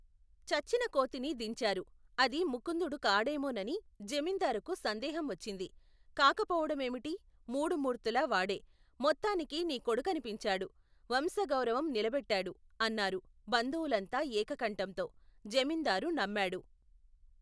చచ్చిన కోతిని దించారు. అది ముకుందుడు కాడేమోనని జమీందారుకు సందేహం వచ్చింది. కాకపోవడమేమిటి ? మూడు మూర్తులా వాడే! మొత్తానికి నీ కొడుకని పించాడు. వంశగౌరవం నిలబేట్టాడు! అన్నారు బంధువులంతా ఏకకంఠంతో, జమీందారు నమ్మాడు.